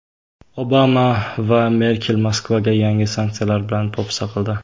Obama va Merkel Moskvaga yangi sanksiyalar bilan po‘pisa qildi.